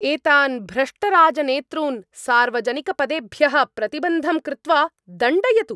एतान् भ्रष्टराजनेतॄन् सार्वजनिकपदेभ्यः प्रतिबन्धं कृत्वा दण्डयतु।